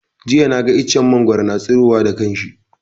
Jiya na ga iccen mangwaro na tsiro wa da kanshi